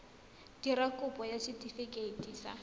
dira kopo ya setefikeiti sa